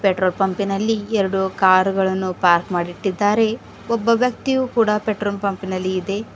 Petrol ಪಂಪಿ ನಲ್ಲಿ ಎರಡು ಕಾರು ಗಳನ್ನು ಪಾರ್ಕ್ ಮಾಡಿಟ್ಟಿದ್ದಾರೆ ಒಬ್ಬ ವ್ಯಕ್ತಿಯು ಕೂಡ ಪೆಟ್ರೋಲ್ ಪಂಪಿ ನಲ್ಲಿ ಇದೆ.